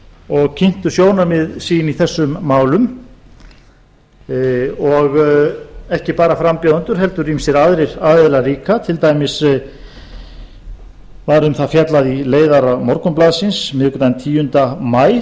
og kynntu sjónarmið sín í þessum málum og ekki bara frambjóðendur heldur líka ýmsir aðrir aðilar líka til dæmis var um það fjallað í leiðara morgunblaðsins miðvikudaginn tíunda maí